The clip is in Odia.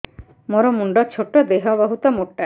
ମୋର ମୁଣ୍ଡ ଛୋଟ ଦେହ ବହୁତ ମୋଟା